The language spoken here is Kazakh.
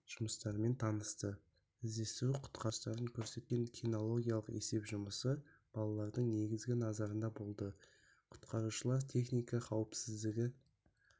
жұмыстарымен танысты іздестіру-құтқару жұмыстарын көрсеткен кинологиялық есеп жұмысы балалардың негізгі назарында болды құтқарушылары техника қауіпсіздігі